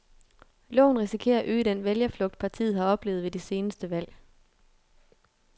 Loven risikerer at øge den vælgerflugt, partiet har oplevet ved de seneste valg.